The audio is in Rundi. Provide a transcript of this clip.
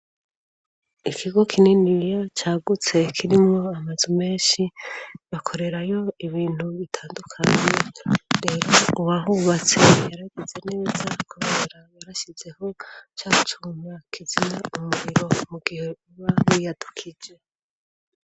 Ikigo kininiriya cagutse kirimwo amazu menshi, bakorerayo ibintu bitandukanye, rero uwahubatse yaragize neza kurera yarashizeho ca gucuma kizimya umuriro mu gihe biba biyadukije.